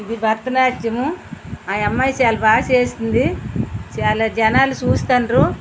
ఇది భరతనాట్యం అ అమ్మాయి చాల బాగా చేస్తుంది చాలా జనాలు చూస్తున్నారు.